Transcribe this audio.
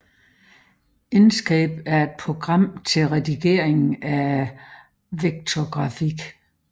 Inkscape er et program til redigering af vektorgrafik